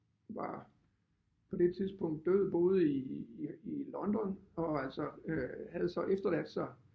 Var på det tidspunkt død boede i i i London og altså øh havde så efterladt sig